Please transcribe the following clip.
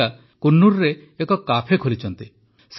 ରାଧିକା କୁନ୍ନୁରରେ ଏକ କାଫେ ଖୋଲିଛନ୍ତି